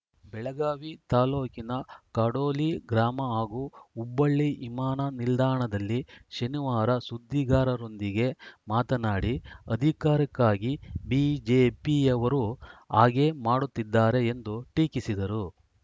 ಬೆಳಗಾವಿ ತಾಲೂಕಿನ ಕಡೋಲಿ ಗ್ರಾಮ ಹಾಗೂ ಹುಬ್ಬಳ್ಳಿ ವಿಮಾನ ನಿಲ್ದಾಣದಲ್ಲಿ ಶನಿವಾರ ಸುದ್ದಿಗಾರರೊಂದಿಗೆ ಮಾತನಾಡಿ ಅಧಿಕಾರಕ್ಕಾಗಿ ಬಿಜೆಪಿಯವರು ಹಾಗೆ ಮಾಡುತ್ತಿದ್ದಾರೆ ಎಂದು ಟೀಕಿಸಿದರು